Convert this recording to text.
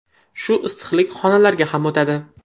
Shu issiqlik xonalarga ham o‘tadi.